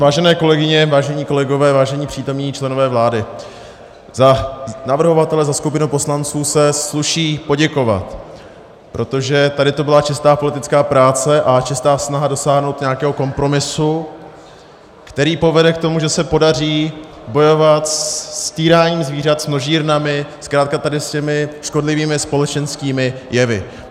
Vážené kolegyně, vážení kolegové, vážení přítomní členové vlády, za navrhovatele, za skupinu poslanců, se sluší poděkovat, protože tady to byla čistá politická práce a čistá snaha dosáhnout nějakého kompromisu, který povede k tomu, že se podaří bojovat s týráním zvířat, s množírnami, zkrátka tady s těmi škodlivými společenskými jevy.